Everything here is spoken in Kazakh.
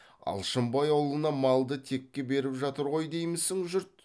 алшынбай аулына малды текке беріп жатыр ғой деймісің жұрт